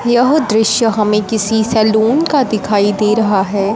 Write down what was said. यह दृश्य हमें किसी सैलून का दिखाई दे रहा है।